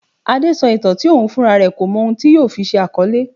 Adé sọ ìtàn tí òun fúnra rẹ kò mọ ohun tí yóò fi ṣe àkọlé.